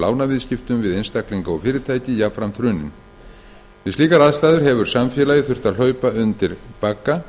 lánaviðskiptum við einstaklinga og fyrirtæki jafnframt hruninn við slíkar aðstæður hefur samfélagið þurft að hlaupa undir bagga